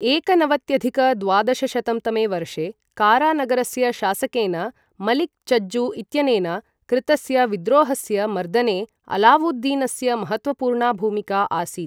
एकनवत्यधिक द्वादशशतं तमे वर्षे, कारा नगरस्य शासकेन मलिक् चज्जू इत्यनेन कृतस्य विद्रोहस्य मर्दने अलावुद्दीनस्य महत्त्वपूर्णा भूमिका आसीत्।